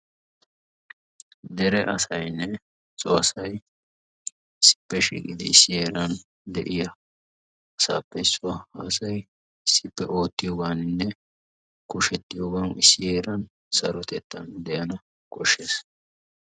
Dere asaynne so asay issippe shiiqqidi issi heeran de'iyaa asappe issuwa. ha asay issippe oottiyooganinne kushetiyoogan issi heeran saroytettan de'an koshshees.